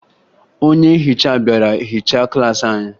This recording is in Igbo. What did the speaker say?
Onye nhicha bịara hichaa klaasị anyị